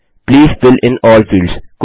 please fill in all fields